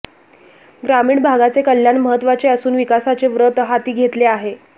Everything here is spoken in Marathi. ग्रामीण भागाचे कल्याण महत्वाचे असुन विकासाचे व्रत हाती घेतले आहे